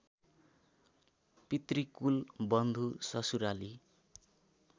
पितृकुल बन्धु ससुराली